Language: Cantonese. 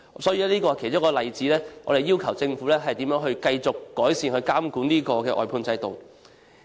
這是其中一個例子解釋為何我們要求政府繼續改善監管外判制度。